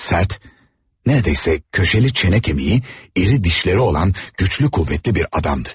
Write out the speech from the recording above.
Sert, neredeyse köşeli çene kemiği, iri dişleri olan güçlü kuvvetli bir adamdı.